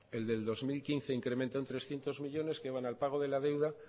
el del dos mil quince incrementan trescientos millónes que van al pago de la deuda